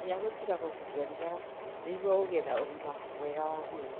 Geria gũtiga kũgucia thigara nĩguo ũgĩe na ũgima mwega wa mwĩrĩ.